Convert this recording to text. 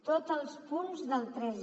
tots els punts del tres